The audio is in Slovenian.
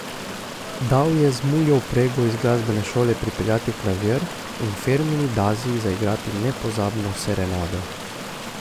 Dal je z muljo vprego iz glasbene šole prepeljati klavir in Fermini Dazi zaigrati nepozabno serenado.